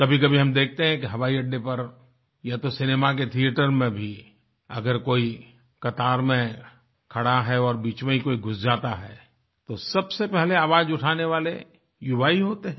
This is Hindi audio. कभीकभी हम देखते हैं कि हवाई अड्डे पर या तो सिनेमा के थिएटर में भी अगर कोई कतार में खड़ा है और बीच में कोई घुस जाता है तो सबसे पहले आवाज उठाने वाले युवा ही होते हैं